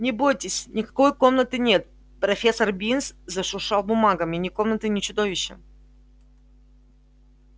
не бойтесь никакой комнаты нет профессор бинс зашуршал бумагами ни комнаты ни чудовища